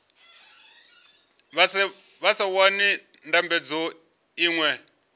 vha sa wani ndambedzo iṅwe